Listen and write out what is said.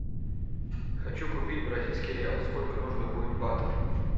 хочу купить бразильский реал сколько нужно будет батов